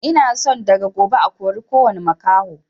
Ina son daga gobe a kori kowani makaho